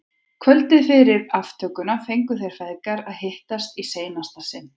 Kvöldið fyrir aftökuna fengu þeir feðgar að hittast í seinasta sinn.